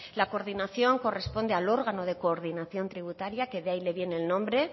la coordinación corresponde al órgano de coordinación tributaria que de ahí le viene el nombre